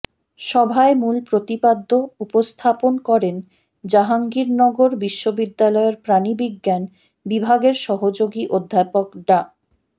সভায় মূল প্রতিপাদ্য উপস্থাপন করেন জাহাঙ্গীরনগর বিশ্ববিদ্যালয়ের প্রাণী বিজ্ঞান বিভাগের সহযোগী অধ্যাপক ডা